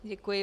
Děkuji.